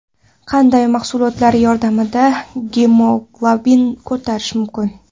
Qanday mahsulotlar yordamida gemoglobinni ko‘tarish mumkin?.